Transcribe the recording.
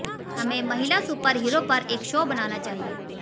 हमें महिला superhero पर एक शो बनाना चाहिए